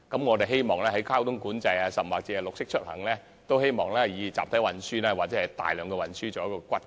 我們希望在推行交通管制，甚或是綠色出行方面也以集體運輸為骨幹。